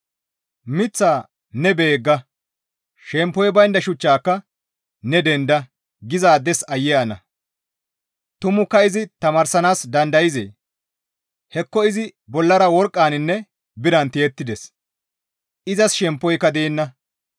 Miththaa, ‹Ne beegga!› Shemppoy baynda shuchchaaka, ‹Ne denda!› gizaades aayye ana! Tumukka izi tamaarsana dandayzee? Hekko izi bollara worqqaninne biran tiyettides; izas shemppoyka deenna.